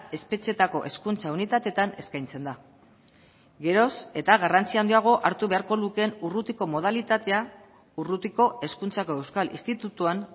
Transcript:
espetxeetako hezkuntza unitateetan eskaintzen da geroz eta garrantzi handiago hartu beharko lukeen urrutiko modalitatea urrutiko hezkuntzako euskal institutuan